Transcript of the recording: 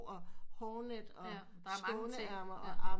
Og hårnet og skåneærmer